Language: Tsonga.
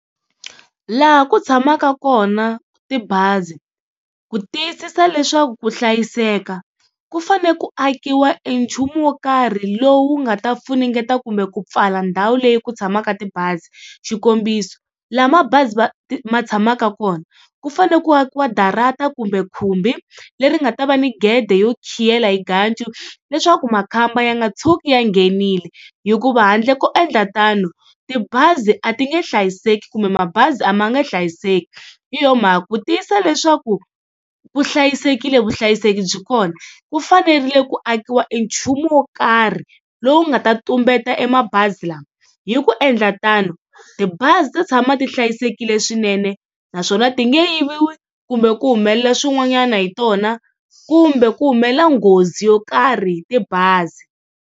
Laha ku tshamaka kona tibazi, ku tiyisisa leswaku ku hlayiseka ku fanele ku akiwa e nchumu wo karhi lowu nga ta funengeta kumbe ku pfala ndhawu leyi ku tshamaka tibazi. Xikombiso laha mabazi va ma tshamaka kona ku fane ku akiwa darata kumbe khumbi leri nga ta va ni gede yo khiyela hi ganju, leswaku makhamba ya nga tshuki ya nghenile hikuva handle ko endla tano tibazi a ti nge hlayiseki kumbe mabazi a ma nge hlayiseki. Hi yona mhaka ku tiyisa leswaku ku hlayisekile vuhlayiseki byi kona ku fanerile ku akiwa e nchumu wo karhi lowu nga ta tumbeta e mabazi lama hi ku endla tano tibazi tita tshama ti hlayisekile swinene naswona ti nge yiviwa kumbe ku humelela swin'wanyana hi tona kumbe ku humelela nghozi yo karhi hi tibazi.